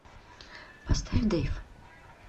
поставь дэйв